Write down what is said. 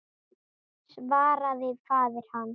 svaraði faðir hans.